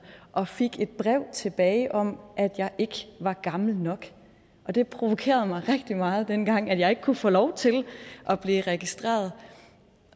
og fik et brev tilbage om at jeg ikke var gammel nok det provokerede mig rigtig meget dengang at jeg ikke kunne få lov til at blive registreret